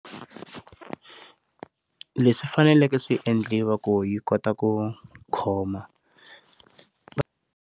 Leswi faneleke swiendliwa ku yi kota ku khoma.